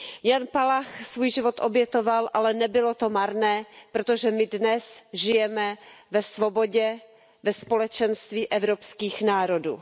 Jan Palach svůj život obětoval, ale nebylo to marné, protože my dnes žijeme ve svobodě, ve společenství evropských národů.